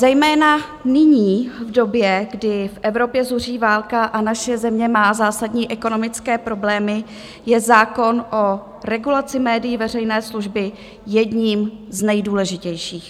Zejména nyní, v době, kdy v Evropě zuří válka a naše země má zásadní ekonomické problémy, je zákon o regulaci médií veřejné služby jedním z nejdůležitějších.